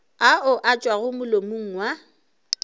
ao a tšwago molomong wa